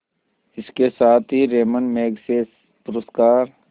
इसके साथ ही रैमन मैग्सेसे पुरस्कार